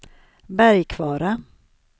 Bergkvara